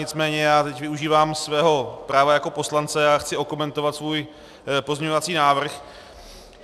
Nicméně já teď využívám svého práva jako poslance a chci okomentovat svůj pozměňovací návrh.